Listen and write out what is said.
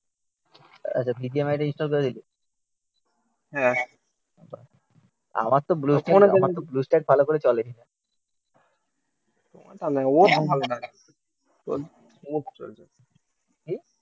আচ্ছা BGMI টা install করে দিলি হ্যাঁ আমার তো আমার তো ব্লু স্টাইড ভালো করে চলেই না